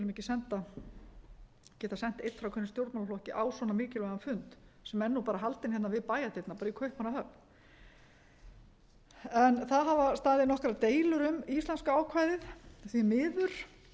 ekki geta sent einn frá hverjum stjórnmálaflokki á svona mikilvægan fund sem er nú bara haldinn hérna við bæjardyrnar bara í kaupmannahöfn það hafa staðið nokkrar deilur um íslenska ákvæðið því miður hæstvirts utanríkisráðherra össur skarphéðinn